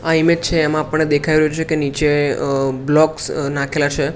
આ ઈમેજ છે એમાં આપણે દેખાઈ રહ્યું છે કે નીચે અહ બ્લોકસ નાંખેલા છે.